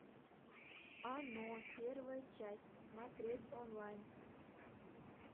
оно первая часть смотреть онлайн